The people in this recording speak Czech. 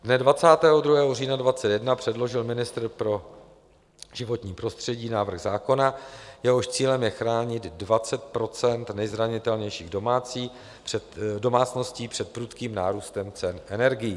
Dne 22. října 2021 předložil ministr pro životní prostředí návrh zákona, jehož cílem je chránit 20 % nejzranitelnějších domácností před prudkým nárůstem cen energií.